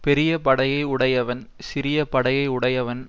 பெரிய படையை உடையவன் சிறிய படையை உடையவன்